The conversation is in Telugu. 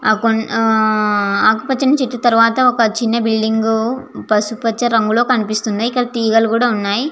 ఆ అకుపచని చేట్టు తరువాత ఒక చిన్న బిల్డింగ్ పసుపు పచ రంగు లో కూడా కనిపిస్థుఐ తిగల్లు కూడా వున్నాయ్.